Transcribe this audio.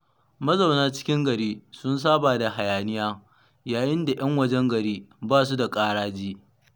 Mazauna cikin gari sun saba da hayaniya, yayinda 'yan wajen gari ba su da ƙaraji.